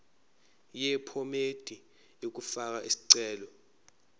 yephomedi yokufaka isicelo